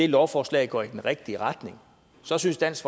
lovforslaget går i den rigtige retning så synes dansk